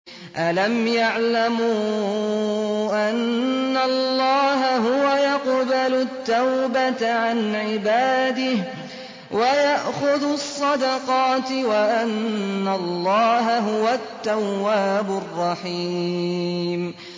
أَلَمْ يَعْلَمُوا أَنَّ اللَّهَ هُوَ يَقْبَلُ التَّوْبَةَ عَنْ عِبَادِهِ وَيَأْخُذُ الصَّدَقَاتِ وَأَنَّ اللَّهَ هُوَ التَّوَّابُ الرَّحِيمُ